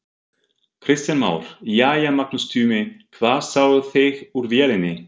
Kristján Már: Jæja Magnús Tumi, hvað sáuð þið úr vélinni?